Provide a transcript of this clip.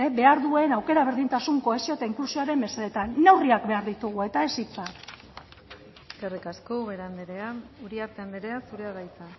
behar duen aukera berdintasun kohesio eta inklusioaren mesedetan neurriak behar ditugu eta ez hitza eskerrik asko ubera andrea uriarte andrea zurea da hitza